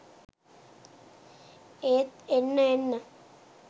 ඒත් එන්න එන්න